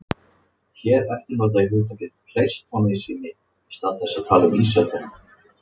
Hér eftir nota ég hugtakið pleistósentími í stað þess að tala um ísöldina.